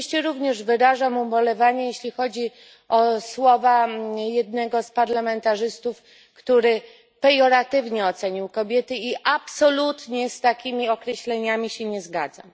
Oczywiście również wyrażam ubolewanie z powodu słów jednego z parlamentarzystów, który pejoratywnie ocenił kobiety i absolutnie się z takimi określeniami nie zgadzam.